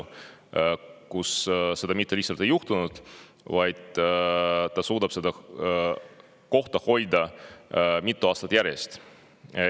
Ja see mitte lihtsalt ei ole juhtunud, vaid ta on suutnud seda kohta hoida mitu aastat järjest.